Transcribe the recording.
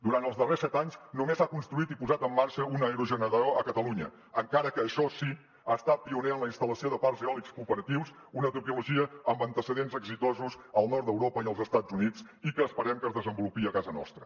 durant els darrers set anys només s’ha construït i posat en marxa un aerogenerador a catalunya encara que això sí ha estat pioner en la instal·lació de parcs eòlics cooperatius una tecnologia amb antecedents exitosos al nord d’europa i als estats units i que esperem que es desenvolupi a casa nostra